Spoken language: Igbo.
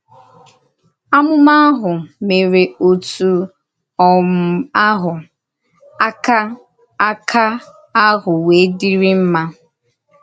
Àmùmà ahụ mèrè òtù um àhụ, ákà ákà ahụ wéè dìrìrì mma.